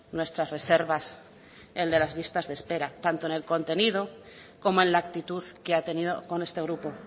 nuestras reservas el de las listas de espera tanto en el contenido como en la actitud que ha tenido con este grupo